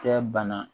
Kɛ bana